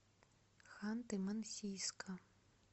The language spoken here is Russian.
ханты мансийска